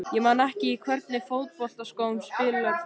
Ég man það ekki Í hvernig fótboltaskóm spilar þú?